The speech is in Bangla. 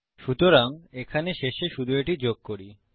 সুতরাং এখানে শেষে শুধু এটি যোগ করি